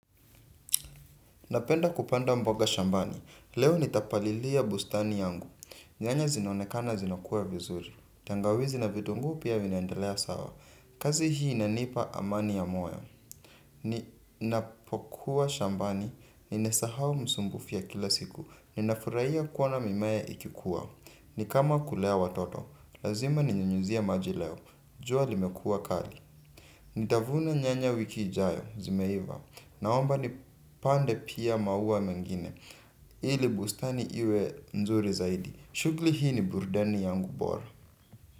Napenda kupanda mboga shambani, leo nitapalilia bustani yangu, nyanya zinaonekana zinakua vizuri, tangawizi na vitunguu pia vinaendelea sawa, kazi hii inanipa amani ya moyo. Ninapokuwa shambani, ninesahau msumbufu ya kila siku, ninafurahia kuona mimea ikikuwa, nikama kulea watoto, lazima ninyunyizie maji leo, jua limekua kali. Nitavuna nyanya wiki ijayo zimeiva naomba ni pande pia maua mengine ili bustani iwe nzuri zaidi. Chugli hii ni burudani yangu bora.